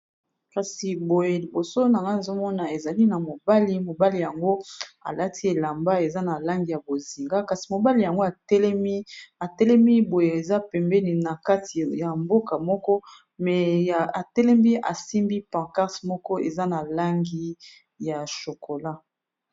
Kasi boye liboso na nga azomona ezali na mobali mobali. Yango alati elamba eza na langi ya bozinga kasi mobali yango atelemi boye eza pembeni na kati ya mboka moko me atelembi asimbi pancarte moko eza na langi ya shokola.